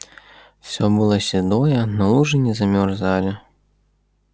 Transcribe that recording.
всё было седое но лужи не замерзали